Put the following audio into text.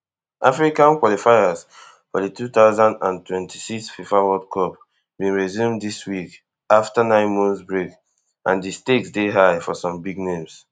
african qualifiers for di two thousand and twenty-six fifa world cup bin resume dis week afta ninemonth break and di stakes dey high for some big names